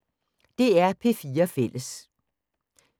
DR P4 Fælles